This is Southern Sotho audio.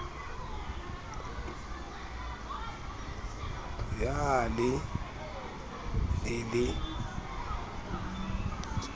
ya a le e le